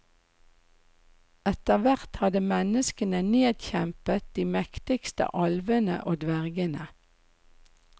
Etterhvert hadde menneskene nedkjempet de mektigste alvene og dvergene.